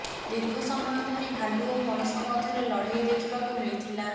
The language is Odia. ଦୀର୍ଘ ସମୟ ଧରି ଭାଲୁ ଓ ମଣିଷ ମଧ୍ୟରେ ଲଢେଇ ଦେଖିବାକୁ ମିଳିଥିଲା